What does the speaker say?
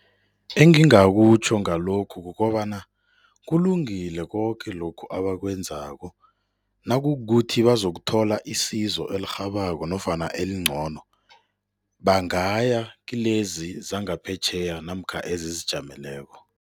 Engingakutjho ngalokhu kukobana kulungile koke lokhu abakwenzako nakukukuthi bazokuthola isizo elirhabako nofana elingcono, bangaya kilezi zangaphetjheya namkha ezizijameleko.